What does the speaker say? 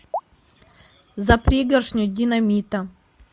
за пригоршню динамита